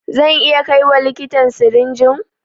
Zan iya kaiwa likitan sirinjin?